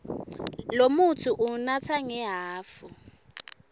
lomutsi uwunatsa ngehhafu